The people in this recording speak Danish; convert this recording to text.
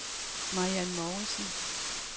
Mariann Mouritsen